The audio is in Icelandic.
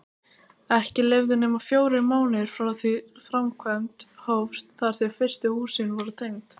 Ekki liðu nema fjórir mánuðir frá því framkvæmd hófst þar til fyrstu húsin voru tengd.